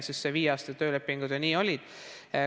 Selle viieaastase töölepinguga ju nii oli.